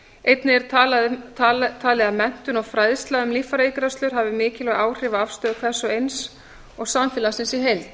einnig er talið að menntun og fræðsla um líffæraígræðslur hafi mikilvæg áhrif á afstöðu hvers og eins og samfélagsins í heild